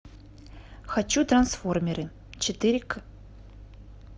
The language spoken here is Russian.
хочу трансформеры четыре ка